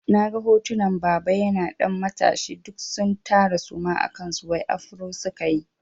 Na ga hotunan baba yana ɗan matashi duk sun tara suma a kansu wai afro sukayi.